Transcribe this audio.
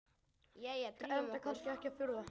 Enda kannski ekki að furða.